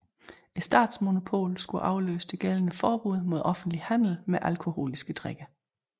Statsmonopolet skulle afløse det gældende forbud mod offentlig handel med alkoholiske drikke